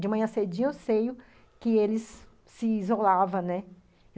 De manhã cedinha eu sei que eles se isolavam, né?